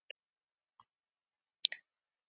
Kysstu ömmu frá okkur öllum.